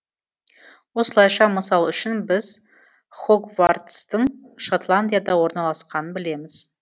осылайша мысал үшін біз хогвартстың шотландияда орналасқанын білеміз